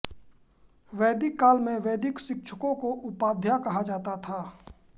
वैदिक काल में वैदिक शिक्षकों को उपाध्याय कहा जाता था